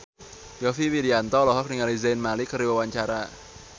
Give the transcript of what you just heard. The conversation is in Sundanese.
Yovie Widianto olohok ningali Zayn Malik keur diwawancara